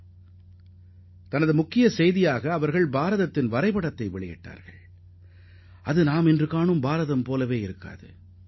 அந்த நாளிதழின் தலைப்புச் செய்தியில் இந்தியாவின் வரைபடத்தையும் வெளியிட்டிருந்தனர் ஆனால் அந்த வரைபடம் தற்போது உள்ளது போன்றதாக இல்லை